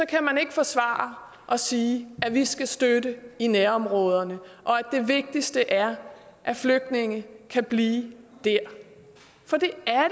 kan man ikke forsvare at sige at vi skal støtte i nærområderne og at det vigtigste er at flygtninge kan blive der for det